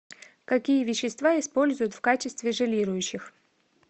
какие вещества используют в качестве желирующих